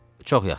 Çox yaxşı.